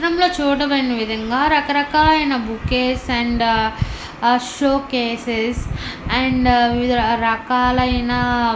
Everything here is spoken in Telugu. ఈ చిత్రం లొ చుడమైన విధం గా రకరకాలైన బోకీస్ అండ్ ఆ షోకేసెస్ అండ్ వివిధ రకాలైన--